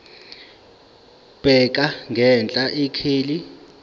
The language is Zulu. bheka ngenhla ikheli